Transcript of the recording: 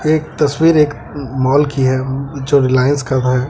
ये तस्वीर एक मॉल की है जो रिलायंस का है।